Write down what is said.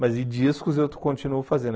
Mas e discos eu continuo fazendo.